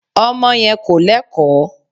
Ọmọ yẹn kò Lẹ́kọ̀ọ́.